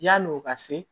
Yanni o ka se